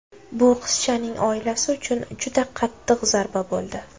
Bu qizchaning oilasi uchun juda qattiq zarba bo‘ldi.